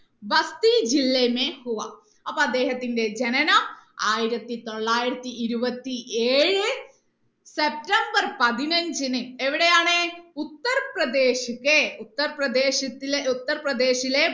ഭക്തി ജില്ല അപ്പൊ അദ്ദേഹത്തിന്റെ ജനനം ആയിരത്തി തൊള്ളായിരത്തി ഇരുപത്തി ഏഴ് സെപ്റ്റംബർ പതിനഞ്ചിന് എവിടെയാണ് ഉത്തർപ്രദേശ് ഉത്തർപ്രദേശത്തിലെ ഉത്തർപ്രദേശിലെ